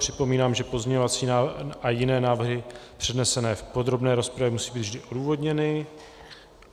Připomínám, že pozměňovací návrhy a jiné návrhy přednesené v podrobné rozpravě musí být vždy odůvodněny.